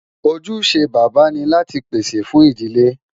Ojúṣe bàbá ni láti pèsè fún ìdílé